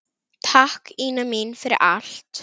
Takk, Ína mín, fyrir allt.